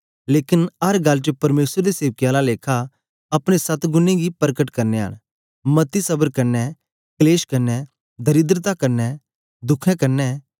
लेकन अर गल्ल च परमेसर दे सेवकें आला लेखा अपने सत्तगुनें गी परकट करनयां न मती सबर कन्ने कलेश कन्ने दरिद्रता कन्ने दुखें कन्ने